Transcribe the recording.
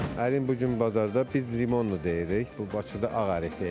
Ərim bu gün bazarda biz limonlu deyirik, bu Bakıda ağ ərik deyirlər.